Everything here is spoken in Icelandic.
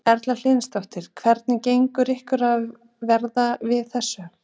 Erla Hlynsdóttir: Hvernig gengur ykkur að verða við þessu?